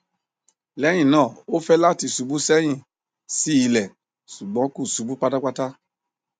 lẹhinna o fẹ lati ṣubu sẹhin si ilẹ ṣugbọn ko ṣubu patapata